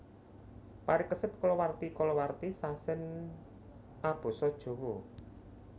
Parikesit kalawarti kalawarti sasèn abasa Jawa